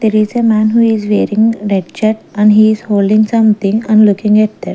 there is a man who is wearing red shirt and he is holding some thing and looking at that.